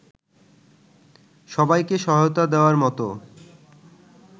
সবাইকে সহায়তা দেওয়ার মতো